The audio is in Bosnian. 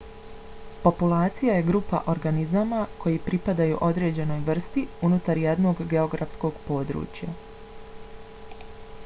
populacija je grupa organizama koji pripadaju određenoj vrsti unutar jednog geografskog područja